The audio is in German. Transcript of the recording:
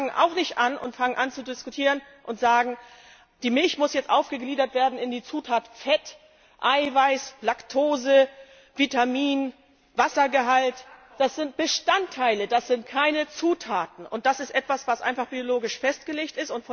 Wir fangen auch nicht an zu diskutieren und sagen, die Milch muss jetzt aufgegliedert werden in die Zutaten Fett, Eiweiß, Laktose, Vitamin, Wassergehalt. Das sind Bestandteile, das sind keine Zutaten! Das ist einfach biologisch festgelegt.